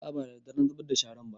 A'a ba daddare na zubar da sharan ba